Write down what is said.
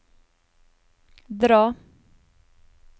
dra